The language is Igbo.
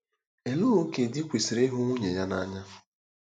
Olee ókè di kwesịrị ịhụ nwunye ya n'anya?